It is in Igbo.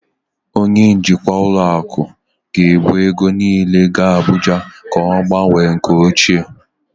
Onye njikwa ụlọ akụ ga-ebu ego niile gaa Abuja ka ọ gbanwee nke ochie